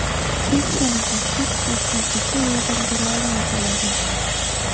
hech qanaqa chek daftarchasi yordam bera olmay qoladi.